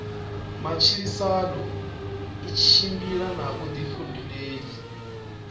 matshilisano i tshimbila na vhuḓifhinduleli